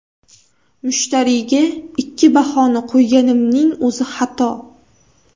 Mushtariyga ikki bahoni qo‘yganimning o‘zi xato.